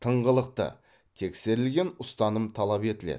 тыңғылықты тексерілген ұстаным талап етіледі